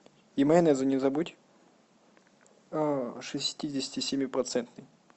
и майонеза не забудь шестидесяти семи процентный